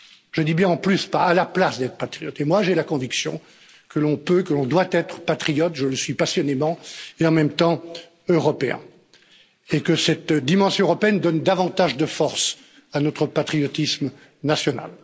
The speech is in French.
Je dis bien en plus, pas à la place d'être patriote. Moi, j'ai la conviction que l'on peut, que l'on doit être patriote je le suis passionnément et en même temps européen, et que cette dimension européenne donne davantage de force à notre patriotisme national.